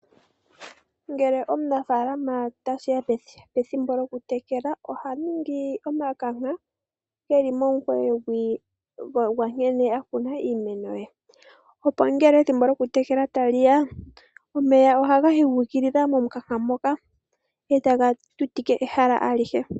Ngele tashiya pethimbo lyoku tekela . Omunafaalama oha ningi omikanka dhili momukunkulo gwiimeno. Opo ngele tekele iimeno omeya ohaga yi guukilila momukanka moka etaga tutike ehala alihe.